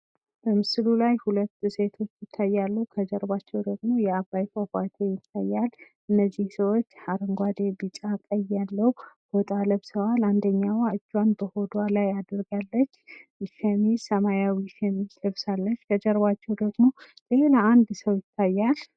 በምስሉ ላይ ሁለት ሴቶች ይታያሉ። ከጀርባቸው ደግሞ የአባይ ፏፏቴ ይታያል። እነዚህ ልጆች አረንጓዴ ቢጫ ቀይ ቀለም ያለው ፎጣ ለብሰዋል። አንዷም እጁን በሆዷ ላይ አድርጋለች። እና ሰማያዊ ሸሚዝ ለብሳለች። ከጀርባቸው ደግሞ የሆነ አንድ ሰው ይታያል።